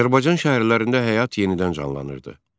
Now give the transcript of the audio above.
Azərbaycan şəhərlərində həyat yenidən canlanırdı.